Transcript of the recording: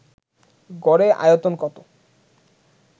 গড়ে আয়তন কত